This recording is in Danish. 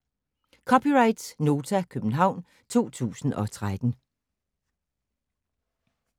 (c) Nota, København 2013